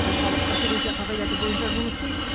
орталық бір терезе қағидаты бойынша жұмыс істейді